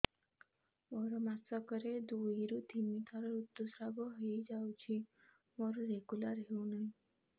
ମୋର ମାସ କ ରେ ଦୁଇ ରୁ ତିନି ଥର ଋତୁଶ୍ରାବ ହେଇଯାଉଛି ମୋର ରେଗୁଲାର ହେଉନାହିଁ